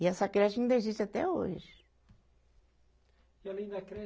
E essa creche ainda existe até hoje. E além da